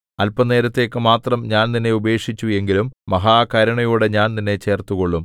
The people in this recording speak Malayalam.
അല്പനേരത്തേക്ക് മാത്രം ഞാൻ നിന്നെ ഉപേക്ഷിച്ചു എങ്കിലും മഹാകരുണയോടെ ഞാൻ നിന്നെ ചേർത്തുകൊള്ളും